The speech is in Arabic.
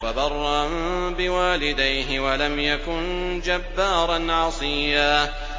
وَبَرًّا بِوَالِدَيْهِ وَلَمْ يَكُن جَبَّارًا عَصِيًّا